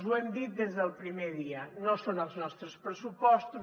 ho hem dit des del primer dia no són els nostres pressupostos